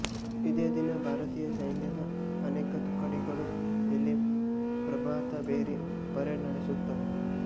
ಇದೇ ದಿನ ಭಾರತೀಯ ಸೈನ್ಯದ ಅನೇಕ ತುಕಡಿಗಳು ಇಲ್ಲಿ ಪ್ರಭಾತಭೇರಿ ಪೆರೇಡ್ ನಡೆಸುತ್ತವೆ